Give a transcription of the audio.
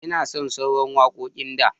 Ina son sauraran wakoƙin da.